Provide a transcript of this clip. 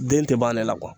Den tɛ ban ale la